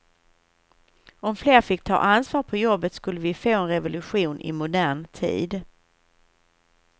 Om fler fick ta ansvar på jobbet skulle vi få en revolution i modern tid.